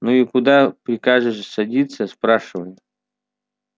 ну и куда прикажешь садиться спрашиваю